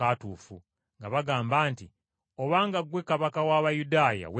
nga bagamba nti, “Obanga ggwe Kabaka w’Abayudaaya, weerokole!”